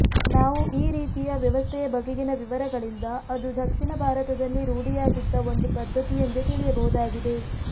ನಾವು ಈ ರೀತಿಯ ವ್ಯವಸ್ಥೆಯ ಬಗೆಗಿನ ವಿವರಗಳಿಂದ ಅದು ದಕ್ಷಿಣ ಭಾರತದಲ್ಲಿ ರೂಢಿಯಾಗಿದ್ದ ಒಂದು ಪದ್ಧತಿಯೆಂದೇ ತಿಳಿಯಬಹುದಾಗಿದೆ